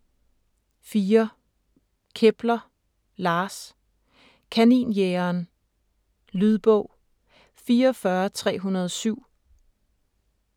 4. Kepler, Lars: Kaninjægeren Lydbog 44307